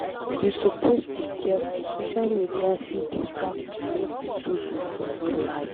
You suppose dey careful social media fit distract you make you zuzu for real life.